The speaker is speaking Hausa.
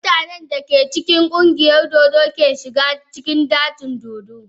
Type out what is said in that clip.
Mutanen da aka cikin ƙungiyar dodo ke shiga cikin dajin dodo.